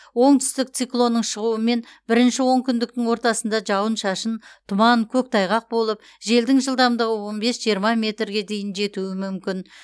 оңтүстік циклонның шығуымен бірінші онкүндіктің ортасында жауын шашын тұман көктайғақ болып желдің жылдамдығы он бес жиырма метрге дейін жетуі мүмкін